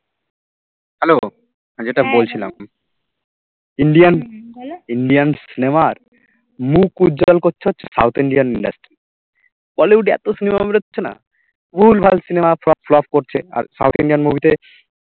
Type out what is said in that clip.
যেটা বলছিলাম Indian Indian cinema র মুখ উজ্জ্বল করছে হচ্ছে south Indian industry bollywood এ এত cinema বেরোচ্ছে না ভুল ভাল cinema সব flop করছে আর south Indian movie তে